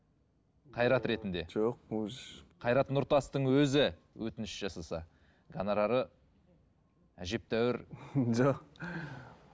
қайрат ретінде жоқ қайрат нұртастың өзі өтініш жасаса гонорары әжептәуір жоқ